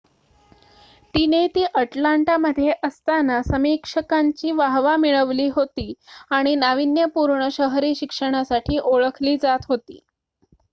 तिने ती अटलांटामध्ये असताना समीक्षकांची वाहवा मिळवली होती आणि नावीन्यपूर्ण शहरी शिक्षणासाठी ओळखली जात होती